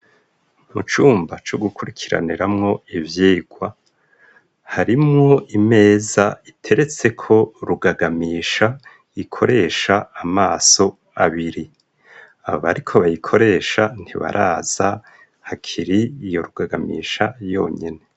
Mu cumba co gukurikiraniramwo ivyigwa harimwo imeza iteretse ko rugagamisha gikoresha amaso abiri aba, ariko bayikoresha ntibaraza hakiri iyo rugagamisha yonyene.